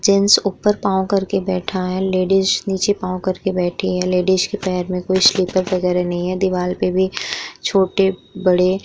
Gents ऊपर पाऊँ कर के बैठा है लेडीज नीचे पाऊँ करके बैठी है। लेडीज के पैर में कोई स्लिपर वगैरा नहीं हैं। दीवार पे भी छोटे बड़े --